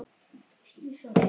Hattar, hattar og aftur hattar.